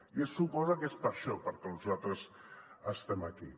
i se suposa que és per a això per al que nosaltres estem aquí